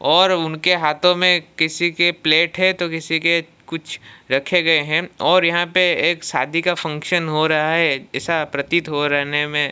और उनके हाथों में किसी के प्लेट है तो किसी के कुछ रखे गए हैं और यहां पे एक शादी का फंक्शन हो रहा है ऐसा प्रतीत हो रहने में--